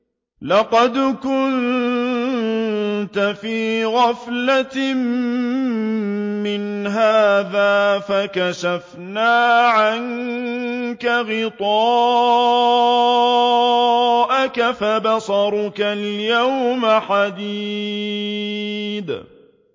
لَّقَدْ كُنتَ فِي غَفْلَةٍ مِّنْ هَٰذَا فَكَشَفْنَا عَنكَ غِطَاءَكَ فَبَصَرُكَ الْيَوْمَ حَدِيدٌ